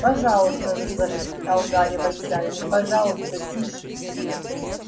пожалуйста зашептал гарри в отчаянии пожалуйста тише